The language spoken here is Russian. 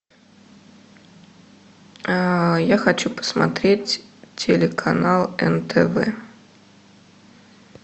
я хочу посмотреть телеканал нтв